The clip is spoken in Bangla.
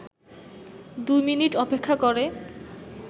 ২ মিনিট অপেক্ষা করে